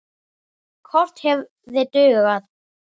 Kort hefði dugað.